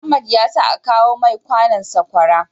Mohammed yasa akawo mai Kano sakwara